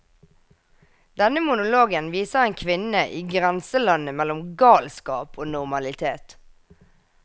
Denne monologen viser en kvinne i grenselandet mellom galskap og normalitet.